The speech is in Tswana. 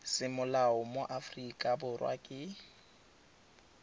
semolao mo aforika borwa ke